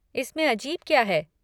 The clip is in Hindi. इसमें अजीब क्या है?